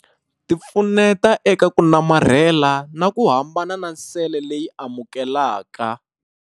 Ti pfuneta eka ku namarhela na ku hambana na sele leyi amukelaka.